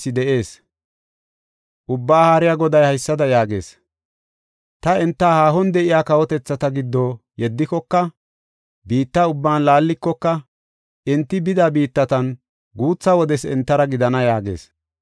Ubbaa Haariya Goday haysada yaagees: “Ta enta haahon de7iya kawotethata giddo yeddikoka, biitta ubban laallikoka, enti bida biittatan guutha wodes entara gidana” yaagees.